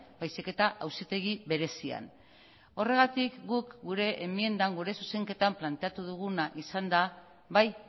baizik eta auzitegi berezian horregatik guk gure enmiendan gure zuzenketan planteatu duguna izan da bai